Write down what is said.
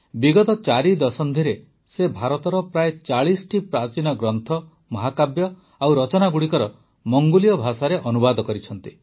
ବିଗତ ୪ ଦଶନ୍ଧିରେ ସେ ଭାରତର ପ୍ରାୟ ୪୦ ପ୍ରାଚୀନ ଗ୍ରନ୍ଥ ମହାକାବ୍ୟ ଓ ରଚନାଗୁଡ଼ିକର ମଙ୍ଗୋଲୀୟ ଭାଷାରେ ଅନୁବାଦ କରିଛନ୍ତି